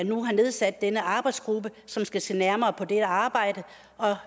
nu har nedsat denne arbejdsgruppe som skal se nærmere på det arbejde og